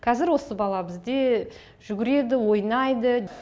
қазір осы бала бізде жүгіреді ойнайды